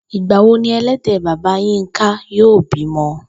Ìgbà wo ni e̩lé̩dè̩ bàbá Yínká yóò bímo̩?